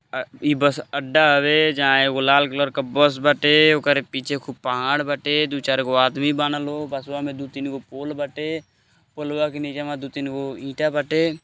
आ ई बस अड्डा आवे जहां एगो लाल कलर का बस बाटे ओकरे पीछे खूब पहाड़ बाटे दू चार गो आदमी बाना लोग बसवा में दो तीन गो पोल बाटे ओर पोलवा के निचे दो तीन गो ईंटा बाटे--